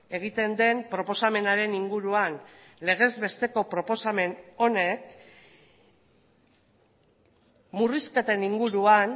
egiten den proposamenaren inguruan legez besteko proposamen honek murrizketen inguruan